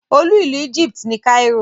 Olú ìlú Egypt ni Cairo.